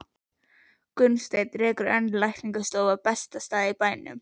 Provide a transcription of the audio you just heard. Gunnsteinn rekur enn lækningastofu á besta stað í bænum.